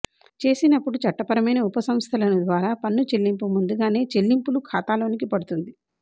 చేసినప్పుడు చట్టపరమైన ఉప సంస్థలను ద్వారా పన్ను చెల్లింపు ముందుగానే చెల్లింపులు ఖాతాలోకి పడుతుంది